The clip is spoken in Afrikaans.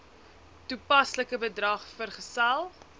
toepaslike bedrag vergesel